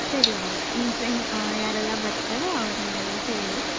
ಸರಿ ಆಯ್ತು okay ನಿಮ್ friend ಅಹ್ ಯಾರೆಲ್ಲಾ ಬರ್ತಾರೆ ಅವ್ರಿಗೆಲ್ಲಾ ಹೇಳಿ.